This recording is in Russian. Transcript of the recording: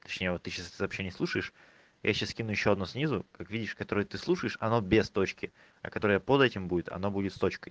точнее вот ты сейчас сообщение слушаешь я сейчас скину ещё одно снизу как видишь которое ты слушаешь оно без точки а которое под этим будет оно будет с точкой